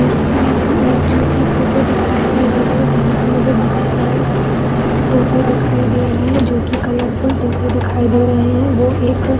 यहाँ पर मुझे एक जो की फोटो दिखाई दे रही है यहाँ पर मुझे बोहोत सारे तोते दिखाई दे रहे है जो की कॉर्फूल तोते दिखाई दे रहे है वो एक अ --